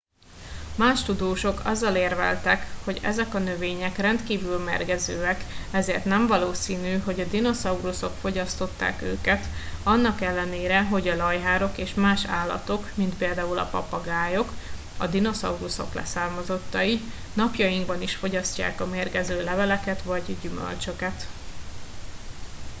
más tudósok azzal érveltek hogy ezek a növények rendkívül mérgezőek ezért nem valószínű hogy a dinoszauruszok fogyasztották őket annak ellenére hogy a lajhárok és más állatok mint például a papagájok a dinoszauruszok leszármazottai napjainkban is fogyasztják a mérgező leveleket vagy gyümölcsöket